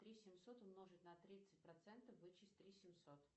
три семьсот умножить на тридцать процентов вычесть три семьсот